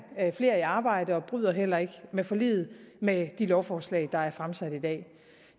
flere i arbejde og bryder heller ikke med forliget med de lovforslag der er fremsat i dag